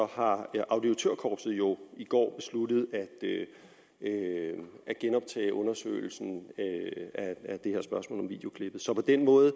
har auditørkorpset jo i går besluttet at genoptage undersøgelsen af det her spørgsmål om videoklippet så på den måde